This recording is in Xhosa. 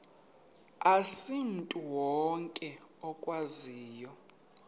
asimntu wonke okwaziyo